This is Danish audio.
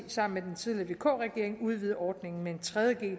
sammen med den tidligere vk regering udvidede ordningen med en tredje g